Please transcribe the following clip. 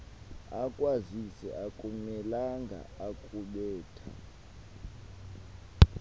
akwazise akamelanga kukubetha